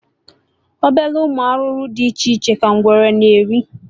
Obele ụmụ arụrụ dị iche iche ka ngwere na-eri